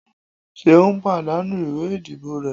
seun pàdánù ìwé ìdíbò re